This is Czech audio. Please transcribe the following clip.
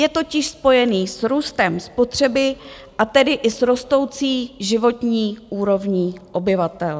Je totiž spojený s růstem spotřeby, a tedy i s rostoucí životní úrovní obyvatel.